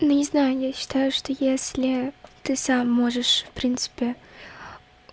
не знаю я считаю что если ты сам можешь в принципе